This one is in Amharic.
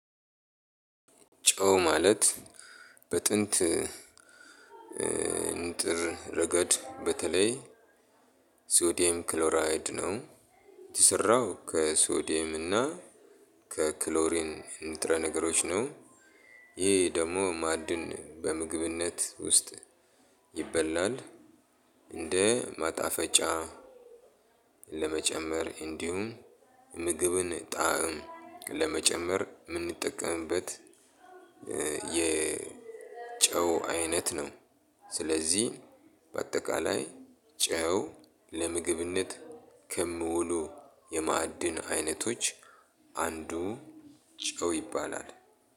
ጨው ማለት በጥንት እንጥር ረገድ በተለይ ሶዲየም ክሎራይድ ነው የተሰራው ከሶዲየም እና ከክሎሪን ንጥረ ነገሮች ነው። ይህ ደግሞ ማዕድን በምግብነት ውስጥ ይበላል። እንደ ማጣፈጫ ለመጨመር እንዲሁም ምግብን ጣዕም ለመጨመር የምንጠቀምበት። የጨው አይነት ነው። ስለዚህ በአጠቃላይ ጨው ለምግብነት ከሚውሉ የማዕድን አይነቶች አንዱ ጨው ይባላል።